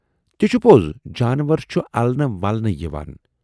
تہِ چھُ پوز، جانور چھُ النہٕ ولنہٕ یِوان۔